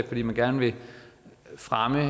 fordi man gerne vil fremme